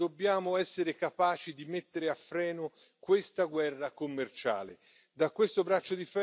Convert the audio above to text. In questo scenario dobbiamo essere capaci di mettere a freno questa guerra commerciale.